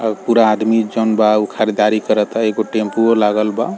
और पूरा आदमी जउन बा उ खरीदारी करता एगो टेम्पूो लागल बा |